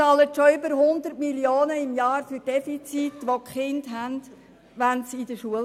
Schon heute bezahlen wir über 100 Mio. Franken für Defizite von Kindern in der Schule.